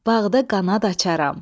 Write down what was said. Bağda qanad açarəm.